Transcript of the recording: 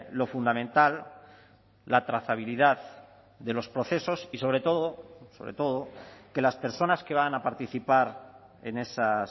lo fundamental la trazabilidad de los procesos y sobre todo sobre todo que las personas que van a participar en esas